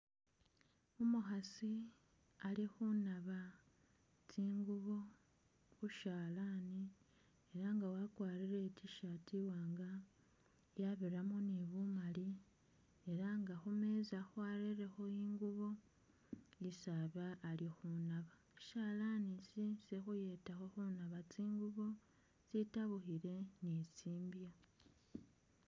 Umukhasi ali khunaba tsingubo khushalani elanga wakwarile itishati iwanga yabiramo ni bumali elanga khumeeza barelekhi ingubo isi aba alikhunaba shalanish shukhuyetakho khunaba tsingubo tsitabukhile ni tsimbya